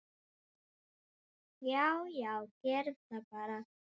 Já já, gerum það bara.